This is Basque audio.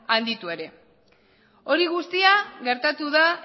handitu ere hori guztia gertatu da